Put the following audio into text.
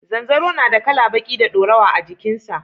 Zanzaro na da kala baƙi da dorawa a jikin sa